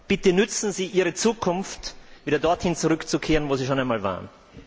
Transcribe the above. Bitte nützen Sie Ihre Zukunft, wieder dorthin zurückzukehren, wo Sie schon einmal waren.